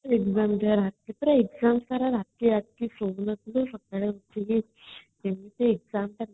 କେତେଟା exam ପରେ ରାତି ରାତି ସୋଇ ନଥିଲେ ସେତେବେଳେ ରାତିରେ କେମିତେ exam ଦବା